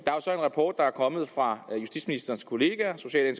rapport der er kommet fra ministerens kollega social